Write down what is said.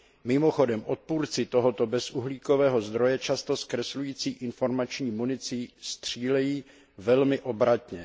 Mimochodem odpůrci tohoto bezuhlíkového zdroje často zkreslující informační municí střílejí velmi obratně.